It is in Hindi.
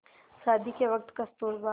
शादी के वक़्त कस्तूरबा